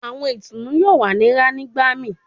Awọn itunu yoo wa ni rán nigbamii